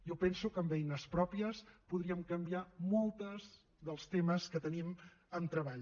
jo penso que amb eines pròpies podríem canviar molts dels temes que tenim amb treball